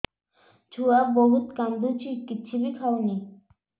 ଛୁଆ ବହୁତ୍ କାନ୍ଦୁଚି କିଛିବି ଖାଉନି